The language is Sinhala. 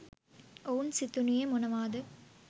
ඔවුන් සිතනුයේ මොනවාද?